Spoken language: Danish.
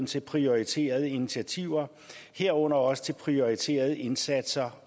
til prioriterede initiativer herunder også til prioriterede indsatser